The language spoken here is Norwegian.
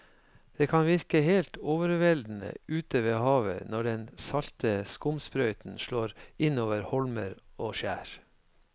Det kan virke helt overveldende ute ved havet når den salte skumsprøyten slår innover holmer og skjær.